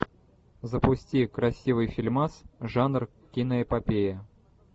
запусти красивый фильмас жанр киноэпопея